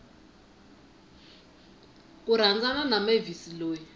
ku rhandzana na mavis loyi